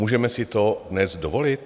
Můžeme si to dnes dovolit?